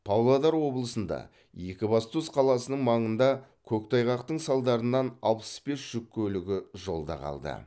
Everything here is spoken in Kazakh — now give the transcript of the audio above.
павлодар облысында екібастұз қаласының маңында көктайғақтың салдарынан алпыс бес жүк көлігі жолда қалды